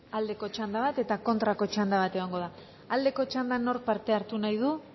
aldeko txanda bat eta kontrako txanda bat egongo da aldeko txandan nork parte hartu nahi du